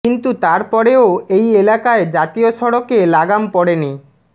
কিন্তু তার পরেও এই এলাকায় জাতীয় সড়কে লাগাম পড়েনি